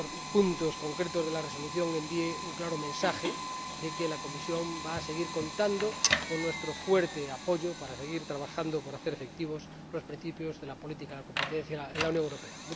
apartados concretos de la Resolución, envíe un claro mensaje de que la Comisión va a seguir contando con nuestro fuerte apoyo para seguir trabajando con el fin de hacer efectivos los principios de la política de competencia en la Unión Europea.